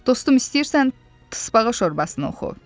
Dostum istəyirsən tıspağa şorbasını oxu.